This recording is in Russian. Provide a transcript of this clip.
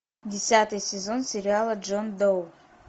десятый сезон сериала джон доу